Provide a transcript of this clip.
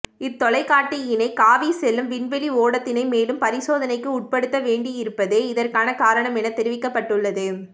இத் தொலைகாட்டியினை காவிச் செல்லும் விண்வெளி ஓடத்தினை மேலும் பரிசோதனைக்கு உட்படுத்த வேண்டி இருப்பதே இதற்கான காரணம் என தெரிவிக்கப்பட்டுள்ளது